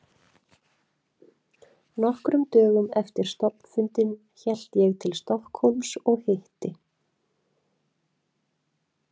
Nokkrum dögum eftir stofnfundinn hélt ég til Stokkhólms og hitti